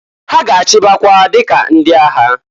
Ha ga-achịbakwa dika ndị agha.